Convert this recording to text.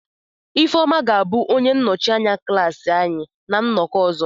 Ifeoma ga-abụ onye nnọchi anya klaasị anyị na nnọkọ ọzọ.